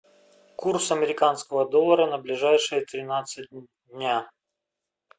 курс американского доллара на ближайшие тринадцать дня